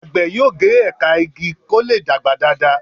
àgbè yóò ge ẹka ìgi kò lẹ dàgbà Dàda.